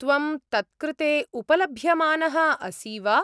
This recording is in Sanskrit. त्वं तत्कृते उपलभ्यमानः असि वा?